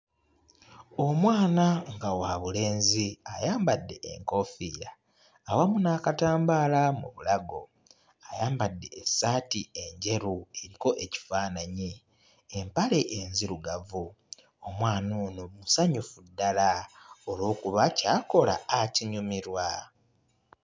Omwana nga wabulenzi ayambadde enkoofiira awamu n'akatambaala mu bulago, ayambadde essaati enjeru eriko ekifaananyi, empale enzirugavu. Omwana ono musanyufu ddala olw'okuba ky'akola akinyumirwa.